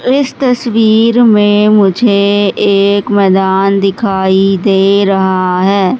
इस तस्वीर मे मुझे एक मैदान दिखाई दे रहा है।